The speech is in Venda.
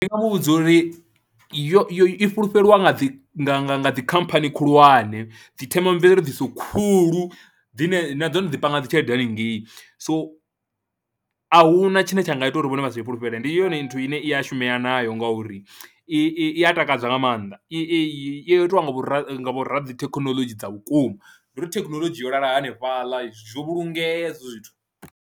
Ndi nga mu vhudza uri yo i fulufhelwa nga dzi nga nga nga dzi khamphani khulwane, dzi themamveledziso khulu dzine nadzo dzi panga dzi tshelede hanengei, so a hu na tshine tsha nga ita uri vhone vha sa i fulufhele, ndi yone nthu ine i a shumea nayo ngauri i i ya takadza nga maanḓa i I yo itiwa nga vhoradzithekhinolodzhi dza vhukuma ndi uri thekhinoḽodzhi yo lala hanefhaḽa zwo vhulungea hezwo zwithu.